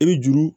E bɛ juru